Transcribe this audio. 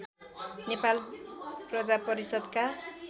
नेपाल प्रजा परिषद्का